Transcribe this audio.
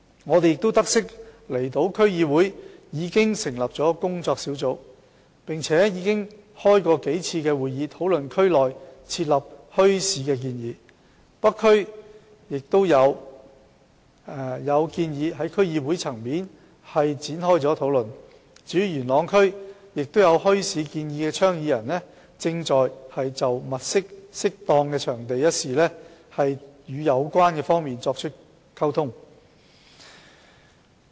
我們亦得悉，離島區議會已成立工作小組，並舉行數次會議，討論在區內設立墟市的建議；北區區議會亦討論了在區內舉辦墟市的建議；至於元朗區，亦有設立墟市的倡議者正就物色適當場地一事與有關方面溝通。